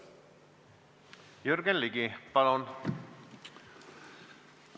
Jürgen Ligi, palun!